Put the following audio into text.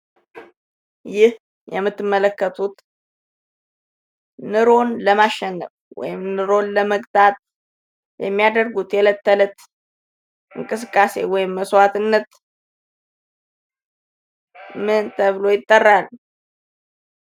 ይህ የምትመለከቱት ኑሮውን ለማሸነፍ ወይም ኑሮን ለመክታት የሚያደርጉት የእለት ከለት እንቅስቃሴ ወይም መስዋዕትነት ምን ተብሎ ይጠራል?